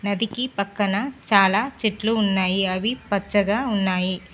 నదికి పక్కన చాలా చెట్లు ఉన్నాయి అవి పచ్చగా ఉన్నాయి.